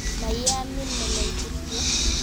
Ma yeamin melel kityo.